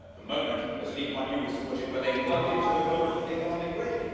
It was the moment, as Lee Kuan Yew was to put it, when they plugged into the global economic grid.